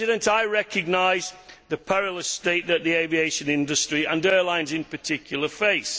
I recognise the perilous state that the aviation industry and airlines in particular face.